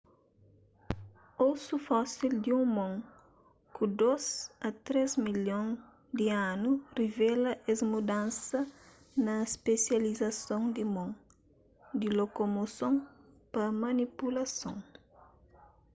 osu fósil di un mon ku dôs a três milhon di anu revela es mudansa na spesializason di mon di lokomoson pa manipulason